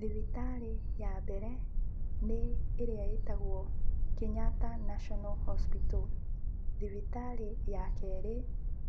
Thibitarĩ ya mbere nĩ ĩrĩa ĩtagwo Kenyatta National Hospital, thibitarĩ ya kerĩ,